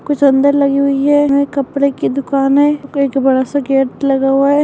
कुछ अंदर लगी हुई है यह कपड़े की दुकान है एक बड़ा सा गेट लगा हुआ है।